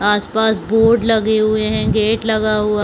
आस-पास बोर्ड लगे हुए है गेट लगा हुआ--